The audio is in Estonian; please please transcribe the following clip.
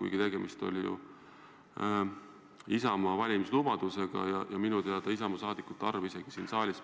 Aga tegemist oli ju Isamaa valimislubadusega ja minu teada Isamaa saadikute arv ka siin saalis